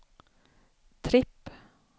tripp